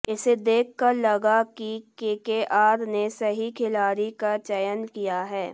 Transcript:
इसे देखकर लगा कि केकेआर ने सही खिलाड़ी का चयन किया है